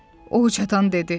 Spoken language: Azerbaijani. O hıçqırdı dedi.